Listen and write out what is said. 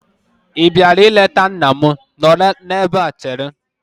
Ị bịara ịleta nna m? Nọrọ n'ebe chere!